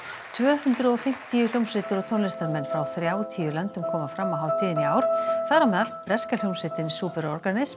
tvö hundruð og fimmtíu hljómsveitir og tónlistarmenn frá þrjátíu löndum koma fram á hátíðinni í ár þar á meðal breska hljómsveitin